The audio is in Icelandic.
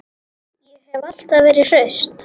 Ég hef alltaf verið hraust.